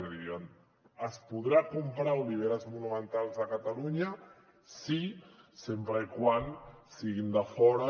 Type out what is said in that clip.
és a dir es podran comprar oliveres monumentals a catalunya sí sempre que siguin de fora